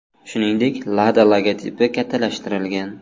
Shuningdek, LADA logotipi kattalashtirilgan.